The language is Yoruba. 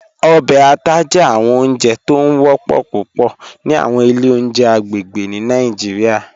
Ọbẹ àtà jẹ awọn ọ̀njẹ̀ tó ń wọ̀pọ̀ púpọ̀ ni awọn ilẹ̀ ọ̀njẹ̀ agbegbe ni Nigeria